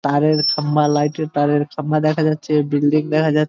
তারের খাম্বা লাইট এর তারের খাম্বা দেখা যাচ্ছে বিল্ডিং দেখা যাচ্ছ--